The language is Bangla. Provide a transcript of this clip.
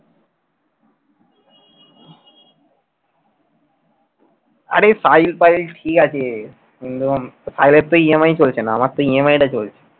আরে সাহিল ফাহিল ঠিক আছে সাহিলের তো EMI চলছে না আমার তো EMI টা চলছে।